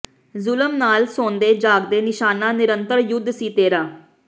ਜ਼ੁਲਮ ਨਾਲ ਸੌਂਦੇ ਜਾਗਦੇ ਨਿਸ਼ਾਨਾ ਨਿਰੰਤਰ ਯੁੱਧ ਸੀ ਤੇਰਾ